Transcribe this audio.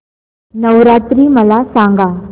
नवरात्री मला सांगा